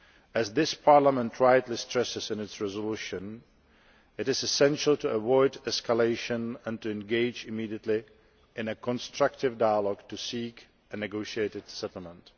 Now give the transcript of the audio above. As this Parliament rightly stresses in its resolution, it is essential to avoid escalation and to engage immediately in a constructive dialogue to seek a negotiated settlement.